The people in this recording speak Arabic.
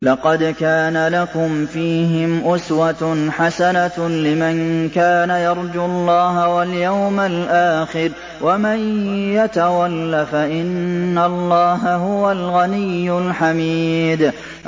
لَقَدْ كَانَ لَكُمْ فِيهِمْ أُسْوَةٌ حَسَنَةٌ لِّمَن كَانَ يَرْجُو اللَّهَ وَالْيَوْمَ الْآخِرَ ۚ وَمَن يَتَوَلَّ فَإِنَّ اللَّهَ هُوَ الْغَنِيُّ الْحَمِيدُ